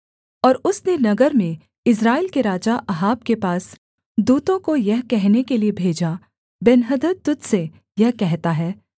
और उसने नगर में इस्राएल के राजा अहाब के पास दूतों को यह कहने के लिये भेजा बेन्हदद तुझ से यह कहता है